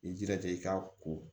I jilaja i ka ko